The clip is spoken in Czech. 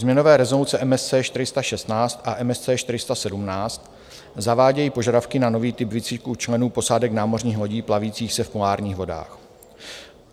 Změnové rezoluce MSC 416 a MSC 417 zavádějí požadavky na nový typ výcviku členů posádek námořních lodí plavících se v polárních vodách.